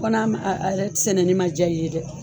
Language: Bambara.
Fɔ n'a ma a yɛrɛ sɛnɛni ma diya i ye dɛ.